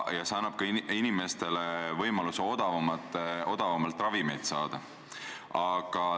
Ja see annab ka inimestele võimaluse odavamalt ravimeid saada.